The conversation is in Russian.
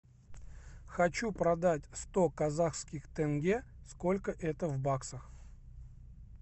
хочу продать сто казахских тенге сколько это в баксах